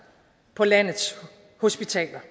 på landets hospitaler